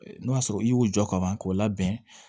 N'o y'a sɔrɔ i y'u jɔ ka ban k'o labɛn